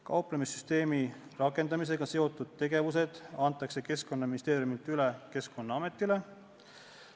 Kauplemissüsteemi rakendamisega seotud tegevused antakse Keskkonnaministeeriumilt üle Keskkonnaametile.